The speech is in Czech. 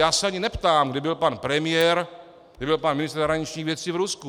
Já se ani neptám, kdy byl pan premiér, kdy byl pan ministr zahraničních věcí v Rusku.